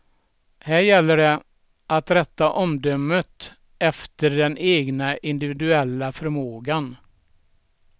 Här gäller det att rätta omdömet efter den egna individuella förmågan.